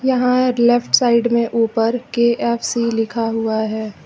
यहां left side में ऊपर के_एफ_सी लिखा हुआ है।